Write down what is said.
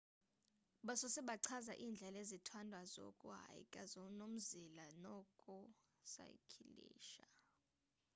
basose bachaza indlela ezithandwayo zoku hyka nomzila noku saykilisha